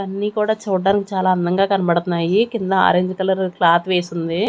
అన్ని కూడా చూడ్డానికి చాలా అందంగా కనబడుతున్నాయి కింద ఆరెంజ్ కలర్ క్లాత్ వేసి ఉంది.